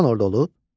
Çoxdan orda olub?